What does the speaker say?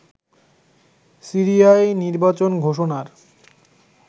সিরিয়ায় নির্বাচন ঘোষণার